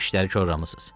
İşləri korlamısız.